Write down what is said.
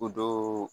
O don